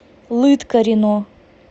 лыткарино